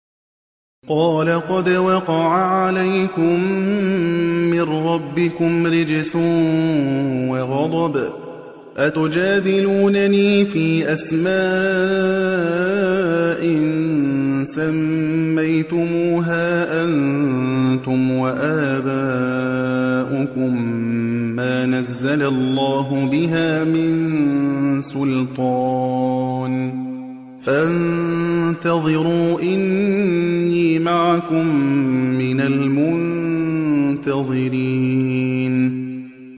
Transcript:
قَالَ قَدْ وَقَعَ عَلَيْكُم مِّن رَّبِّكُمْ رِجْسٌ وَغَضَبٌ ۖ أَتُجَادِلُونَنِي فِي أَسْمَاءٍ سَمَّيْتُمُوهَا أَنتُمْ وَآبَاؤُكُم مَّا نَزَّلَ اللَّهُ بِهَا مِن سُلْطَانٍ ۚ فَانتَظِرُوا إِنِّي مَعَكُم مِّنَ الْمُنتَظِرِينَ